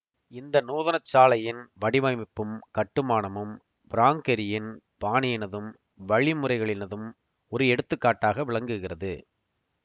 இந்த நூதனசாலையின் வடிவமைப்பும் கட்டுமானமும் பிராங்க் கெரியின் பாணியினதும் வழிமுறைகளினதும் ஒரு எடுத்துக்காட்டாக விளங்குகிறது